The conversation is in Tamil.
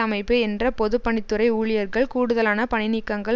அமைப்பு என்ற பொது பணித் துறை ஊழியர்கள் கூடுதலான பணிநீக்கங்கள்